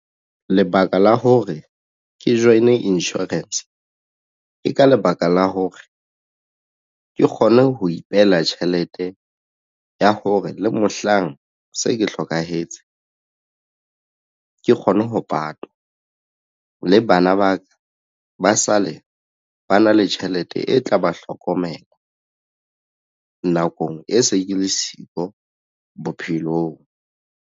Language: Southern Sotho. Lebaka la hore ke join-e insurance ke ka lebaka la hore ke kgone ho ipehela tjhelete ya hore le mohlang se ke hlokahetse ke kgone ho patwa le bana ba ka ba sale ba na le tjhelete e tla ba hlokomela nakong e se ke le siko bophelong.